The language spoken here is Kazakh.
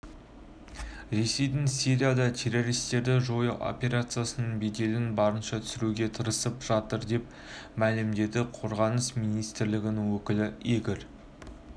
ресейдің сирияда террористерді жою операциясының беделін барынша түсіруге тырысып жатыр деп мәлімдеді қорғаныс министрлігінің өкілі игорь